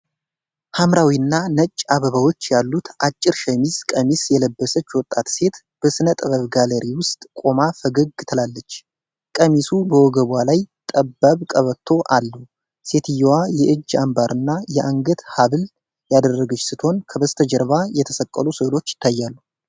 ሐምራዊና ነጭ አበባዎች ያሉት አጭር ሸሚዝ ቀሚስ የለበሰች ወጣት ሴት በሥነ ጥበብ ጋለሪ ውስጥ ቆማ ፈገግ ትላለች። ቀሚሱ በወገቧ ላይ ጠባብ ቀበቶ አለው። ሴትዮዋ የእጅ አምባርና የአንገት ሐብል ያደረገች ስትሆን፣ ከበስተጀርባ የተሰቀሉ ሥዕሎች ይታያሉ።